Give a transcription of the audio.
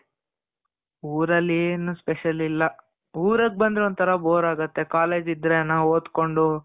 ಊರಲ್ಲಿ ಏನು special ಇಲ್ಲ. ಊರುಗ್ ಬಂದ್ರೆ ಒಂತರಾ bore ಆಗುತ್ತೆ. college ಇದ್ರೇನೆ ಓದ್ಕೊಂಡು .